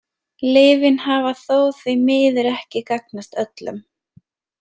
Lyfin hafa þó því miður ekki gagnast öllum.